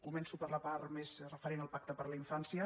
co·menço per la part més referent al pacte per a la infàn·cia